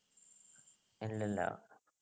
ഇല്ലില്ല